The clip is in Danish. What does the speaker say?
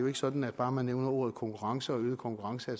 ikke sådan at bare man nævner ordene konkurrence og øget konkurrence